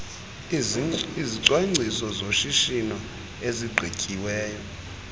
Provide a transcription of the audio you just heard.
izicwangciso zoshishino ezigqityiweyo